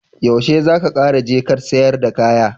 Yaushe zaka Kara je Kant sayar da kaya?